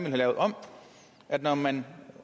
have lavet om at når man